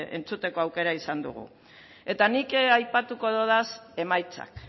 entzuteko aukera izan dugu eta nik aipatuko ditut emaitzak